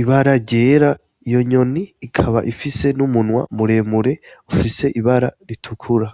ibara ryera iyo nyoni ikaba ifise n'umunwa muremure ufise ibara ritukura.